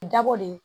Dabɔ de